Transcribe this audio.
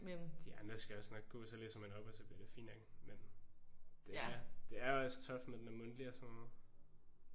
De andre skal også nok gå. Så læser man op og så bliver det fint nok. Men det er det er også tough når deb er mundtligt og sådan noget